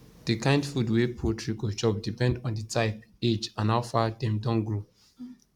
the kind food wey poultry go chop depend on the type age and how far dem don grow